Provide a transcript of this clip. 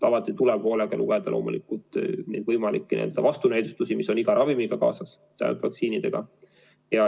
Alati tuleb hoolega lugeda loomulikult võimalikke vastunäidustusi, mis on iga ravimiga kaasas, ka vaktsiinidega.